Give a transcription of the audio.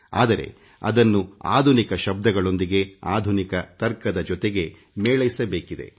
ಆದರೆ ಅದನ್ನು ಆಧುನಿಕ ಶಬ್ದಗಳೊಂದಿಗೆ ಆಧುನಿಕ ವಾದದ ಜೊತೆಗೆ ಮೇಳೈಸಬೇಕಿದೆ